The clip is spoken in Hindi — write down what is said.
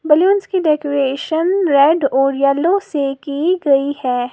बलूंस की डेकोरेशन रेड और यलो से की गई है।